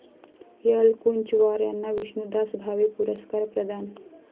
एलकुंचवार यांना विष्णुदास भावे पुरस्कार प्रदान